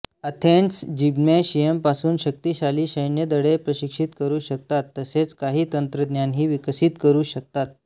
Athens जिम्नॅशियमपासून शक्तिशाली सैन्यदळे प्रशिक्षित करू शकतात तसेच काही तंत्रज्ञानही विकसित करू शकतात